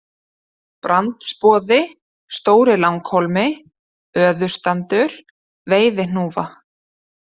Brandsboði, Stóri-Langhólmi, Öðustandur, Veiðihnúfa